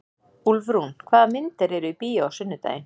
Úlfrún, hvaða myndir eru í bíó á sunnudaginn?